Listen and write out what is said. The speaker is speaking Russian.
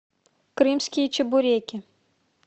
крымские чебуреки